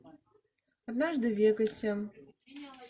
однажды в вегасе